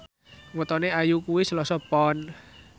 wetone Ayu kuwi Selasa Pon